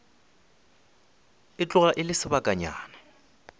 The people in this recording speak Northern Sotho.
e tloga e le sebakanyana